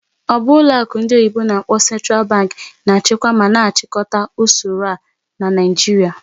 Ọ bụ ọlụ akụ ndị oyibo n'akpọ "Central Bank" na-achịkwa ma na-achịkọta usoro a na Naijiria?